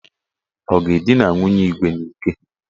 Ọ ga-edina nwunye Igwe n'ike?